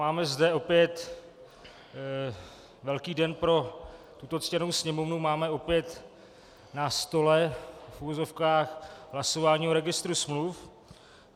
Máme zde opět velký den pro tuto ctěnou Sněmovnu, máme opět na stole v uvozovkách hlasování o registru smluv.